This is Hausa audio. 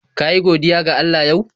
Ka yi godiya ga Allah yau?